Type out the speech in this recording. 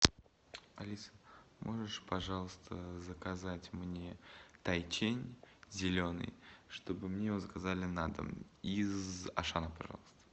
алиса можешь пожалуйста заказать мне тайчень зеленый чтобы мне его заказали на дом из ашана пожалуйста